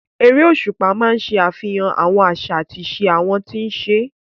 Erésùpá máa ń ṣe àfihàn àwọn àṣà àti ìṣe àwọn tí ń ṣe é